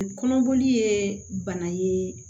Kɔnɔboli ye bana ye